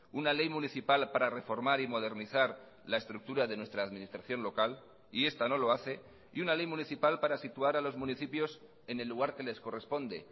una ley municipal para reformar y modernizar la estructura de nuestra administración local y esta no lo hace y una ley municipal para situar a los municipios en el lugar que les corresponde